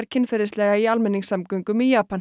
kynferðislega í almenningssamgöngum í Japan